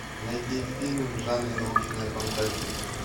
найти фильм в жанре научная фантастика